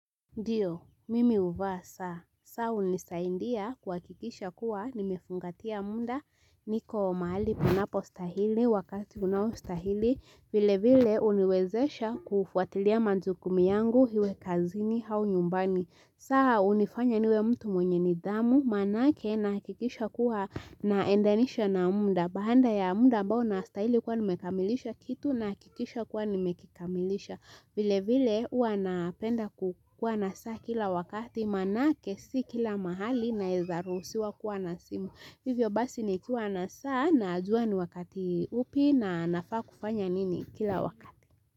Ndiyo, mimi huvaa saa, saa hunisaidia kuhakikisha kuwa nimefungatia muda niko mahali panapo stahili wakati unawo stahili. Vilevile huniwezesha kufuatilia majukumu yangu iwe kazini au nyumbani. Saa hunifanya niwe mtu mwenye nidhamu maanake nahakikisha kuwa na endanisha na muda. Baada ya muda ambao nastahili kuwa nimekamilisha kitu nahakikisha kuwa nimekikamilisha vile vile huwa napenda kukua na saa kila wakati maanake si kila mahali naeza ruhusiwa kuwa na simu hivyo basi nikiwa na saa najua ni wakati upi na nafaa kufanya nini kila wakati.